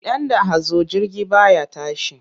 Idan da hazo jirgi ba ya tashi.